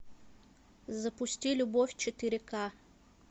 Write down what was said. запусти любовь четыре к